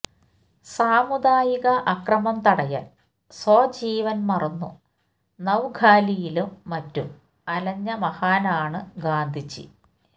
സാമുദായിക അക്രമം തടയാന് സ്വജീവന് മറന്നു നവ്ഖാലിയിലും മറ്റും അലഞ്ഞ മഹാനാണ് ഗാന്ധിജി